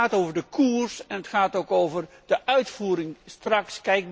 Het gaat over de koers en het gaat ook over de uitvoering straks.